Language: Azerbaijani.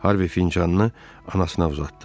Harvi fincanını anasına uzatdı.